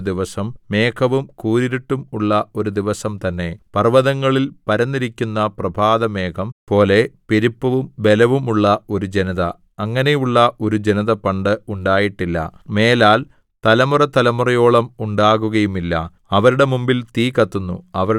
ഇരുട്ടും അന്ധകാരവും ഉള്ള ഒരു ദിവസം മേഘവും കൂരിരുട്ടും ഉള്ള ഒരു ദിവസം തന്നെ പർവ്വതങ്ങളിൽ പരന്നിരിക്കുന്ന പ്രഭാതമേഘം പോലെ പെരുപ്പവും ബലവും ഉള്ള ഒരു ജനത അങ്ങനെയുള്ള ഒരു ജനത പണ്ട് ഉണ്ടായിട്ടില്ല മേലാൽ തലമുറതലമുറയോളം ഉണ്ടാകുകയുമില്ല